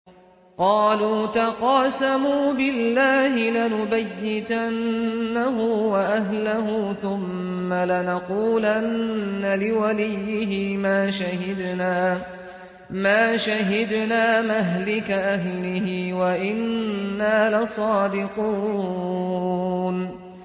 قَالُوا تَقَاسَمُوا بِاللَّهِ لَنُبَيِّتَنَّهُ وَأَهْلَهُ ثُمَّ لَنَقُولَنَّ لِوَلِيِّهِ مَا شَهِدْنَا مَهْلِكَ أَهْلِهِ وَإِنَّا لَصَادِقُونَ